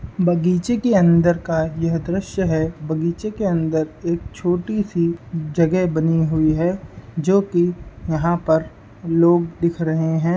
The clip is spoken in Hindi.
बगीचे के अंदर का यह दृश्य है बगीचे के अंदर एक छोटी सी जगह बनी हुई है जो की यहाँ पर लोग दिख रहे हैं।